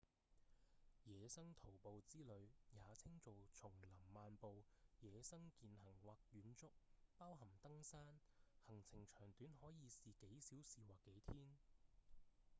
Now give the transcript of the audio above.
野生徒步之旅也稱做叢林漫步﹑野生健行或遠足包含登山行程長短可以是幾小時或幾天